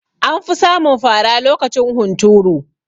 Anfi samun fara lokacin hunturu